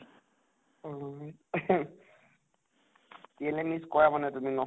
অ time use কৰা মানে তুমি নʼ ?